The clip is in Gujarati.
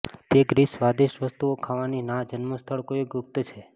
તે ગ્રીસ સ્વાદિષ્ટ વસ્તુઓ ખાવાની ના જન્મસ્થળ કોઈ ગુપ્ત છે